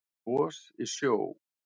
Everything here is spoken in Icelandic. Gos í sjó